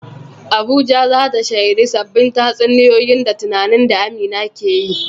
Abuja za ta shaidi sabbin tatsuniyoyi da tunanin da Amina ke yi.